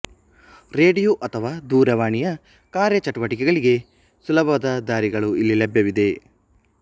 radio ಅಥವಾ ದೂರವಾಣಿಯ ಕಾರ್ಯಚಟುವಟಿಕೆಗಳಿಗೆ ಸುಲಭದ ದಾರಿಗಳು ಇಲ್ಲಿ ಲಭ್ಯವಿವೆ